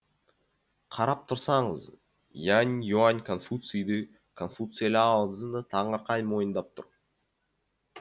қарап тұрсаңыз янь юань конфуцийді конфуций лао цзыны таңырқай мойындап тұр